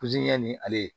ni ale ye